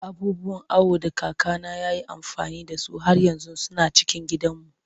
Abubuwan awo da kakana ya yi amfani da su har yanzu suna cikin gidanmu.